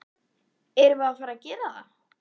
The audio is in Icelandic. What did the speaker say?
Erum við að fara að gera það?